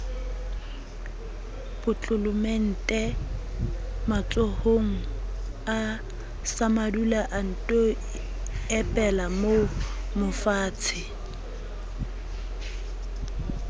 potlolomente matsohonga samadula anto epelamoomofatshe